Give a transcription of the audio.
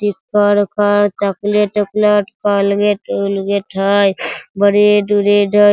Chocolate - उकलेट Colgate - उलगेट हई बरेड - उरेड हई।